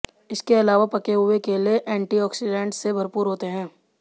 इसके अलावा पके हुए केले एंटीऑक्सीडेंट से भरपूर होते हैं